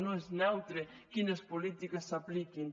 no és neutre quines polítiques s’apliquin